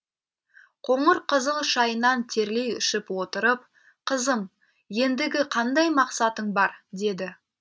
қоңыр қызыл шайынан терлей ішіп отырып қызым ендігі қандай мақсатың бар деді